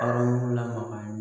Hɔrɔnlama ye